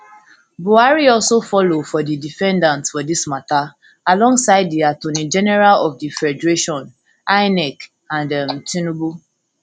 buhari also follow for di defendants for dis mata alongside di attorney general of di federation inec and um tinubu